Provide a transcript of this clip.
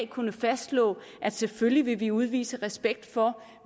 kunnet fastslå at selvfølgelig vil vi udvise respekt for